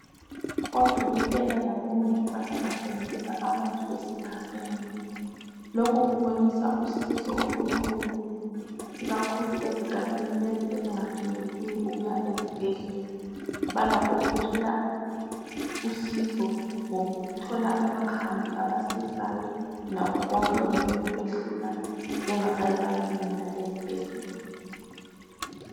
Odokotela labo mongikazi basebenzisa abantu esigabeni. Lokhu kubonisa usizo olukhulu ikakhulu ezigabeni lezi ezinga finyeleli ukuya ezibhedlela, balakho ukuthola usizo ngokuthola amakhambi abasizayo lakho konke okungabe kubehlula bengazange bayafinyelela ezibhedlela.